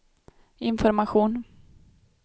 information